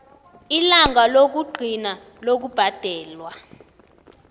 ilanga lokugcina lokubhadelwa